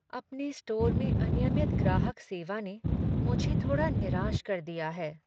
अपने स्टोर में अनियमित ग्राहक सेवा ने मुझे थोड़ा निराश कर दिया है।